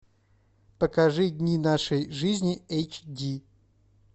покажи дни нашей жизни эйч ди